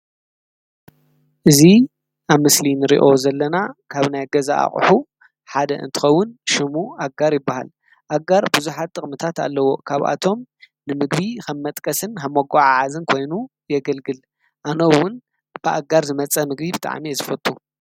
እዙ ኣብ ምስሊን ርዮ ዘለና ካብ ናይ ገዛ ኣቕሑ ሓደ እንትኸውን ሽሙ ኣጋር ይበሃል ኣጋር ብዙኃጥቕ ምታት ኣለዎ ካብኣቶም ንምግቢ ኸም መጥቀስን ሓመጕዓ ዓዝን ኮይኑ የግልግል ኣነውን ብኣጋር ዝመጸ ምግቢ ብጥዓሜ ዝፍቱ።